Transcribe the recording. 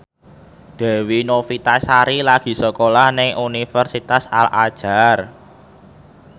Dewi Novitasari lagi sekolah nang Universitas Al Azhar